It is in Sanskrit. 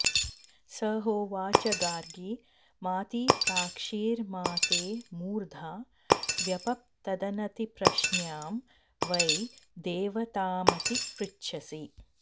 स होवाच गार्गि मातिप्राक्षीर्मा ते मूर्धा व्यपप्तदनतिप्रश्न्यां वै देवतामतिपृच्छसि